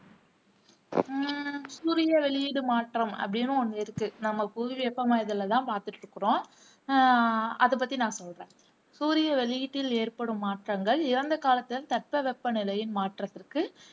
உம் சூரிய வெளியீடு மாற்றம் அப்படின்னு ஒண்ணு இருக்கு நம்ம புவி வெப்பமாதலை தான் பாத்துட்டு இருக்குறோம அஹ் அதை பத்தி நான் சொல்றேன் சூரிய வெளியீட்டில் ஏற்படும் மாற்றங்கள் இறந்த காலத்தின் தட்பவெப்பநிலையின் மாற்றத்திற்கு